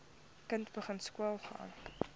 kind begin skoolgaan